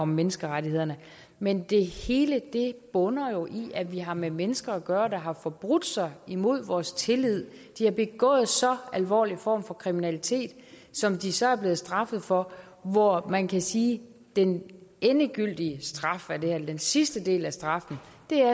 om menneskerettighederne men det hele bunder jo i at vi har med mennesker at gøre der har forbrudt sig imod vores tillid de har begået så alvorlige former for kriminalitet som de så er blevet straffet for hvor man kan sige at den endegyldige straf eller den sidste del af straffen